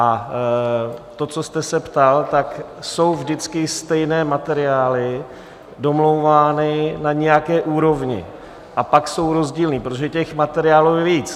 A to, co jste se ptal, tak jsou vždycky stejné materiály domlouvány na nějaké úrovni, a pak jsou rozdílné, protože těch materiálů je víc.